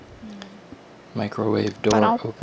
உம் அப்ரோ